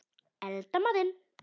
Elda matinn.